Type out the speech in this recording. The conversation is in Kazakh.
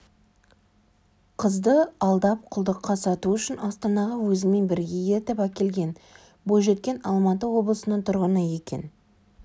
қызды алдап құлдыққа сату үшін астанаға өзімен бірге ертіп әкелген бойжеткен алматы облысының тұрғыны екен